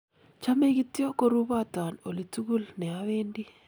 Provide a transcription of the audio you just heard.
chomei kityo koruboton olitugul ne awendi